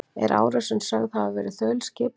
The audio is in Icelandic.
Er árásin sögð hafa verið þaulskipulögð